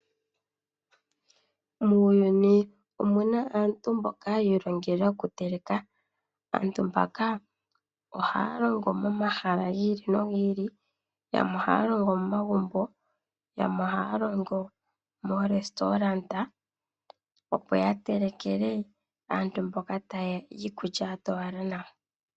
Muuyuni omu na aantu mboka yi ilongela okuteleka. Aantu mbaka ohaya longo momahala gi ili nogi ili yamwe ohaya longo momagumbo, yamwe ohaya longo momahala gomalandithilo giikulya yapya opo ya telekele aantu mboka taye ya iikulya ya towala nawa.